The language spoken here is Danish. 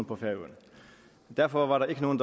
på færøerne derfor var der ikke nogen